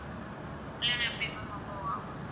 இல்லைனா எப்படி ma'am above ஆ?